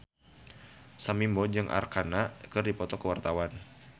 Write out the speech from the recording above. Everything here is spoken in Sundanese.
Sam Bimbo jeung Arkarna keur dipoto ku wartawan